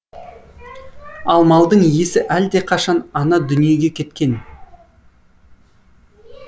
ал малдың иесі әлдеқашан ана дүниеге кеткен